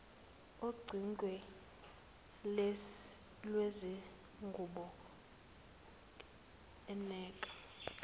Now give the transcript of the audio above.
ocingweni lwezingubo eneka